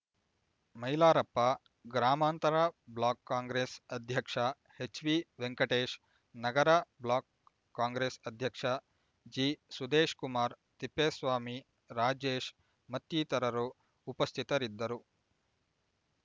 ಮೈಲಾರಪ್ಪ ಗ್ರಾಮಾಂತರ ಬ್ಲಾಕ್ ಕಾಂಗ್ರೆಸ್ ಅಧ್ಯಕ್ಷ ಹೆಚ್ವಿ ವೆಂಕಟೇಶ್ ನಗರ ಬ್ಲಾಕ್ ಕಾಂಗ್ರೆಸ್ ಅಧ್ಯಕ್ಷ ಜಿ ಸುದೇಶ್‍ಕುಮಾರ್ ತಿಪ್ಪೇಸ್ವಾಮಿ ರಾಜೇಶ್ ಮತ್ತಿತರರು ಉಪಸ್ಥಿತರಿದ್ದರು